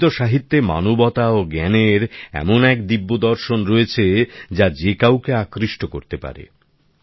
সংস্কৃত সাহিত্যে মানবতা ও জ্ঞানের এমন এক দিব্যদর্শন রয়েছে যা যে কাউকে আকৃষ্ট করতে পারে